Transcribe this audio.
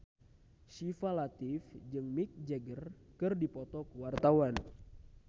Syifa Latief jeung Mick Jagger keur dipoto ku wartawan